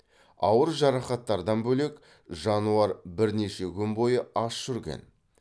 ауыр жарақаттардан бөлек жануар бірнеше күн бойы аш жүрген